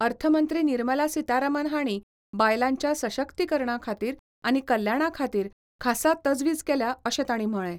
अर्थ मंत्री निर्मला सितारामन हांणी बायलांच्या सशक्तीकरणा खातीर आनी कल्याणा खातीर खासा तजवीज केल्या अशें तांणी म्हळें.